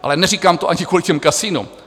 Ale neříkám to ani kvůli těm kasinům.